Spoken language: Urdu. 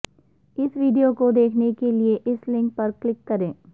اس ویڈیو کو دیکھنے کے لیے اس لنک پر کلک کریں